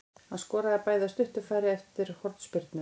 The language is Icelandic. Hann skoraði bæði af stuttu færi eftir hornspyrnur.